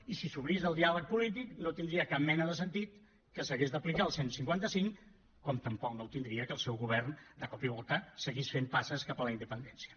i si s’obrís el diàleg polític no tindria cap mena de sentit que s’hagués d’aplicar el cent i cinquanta cinc com tampoc no ho tindria que el seu govern de cop i volta seguís fent passes cap a la independència